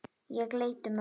Ég leit um öxl.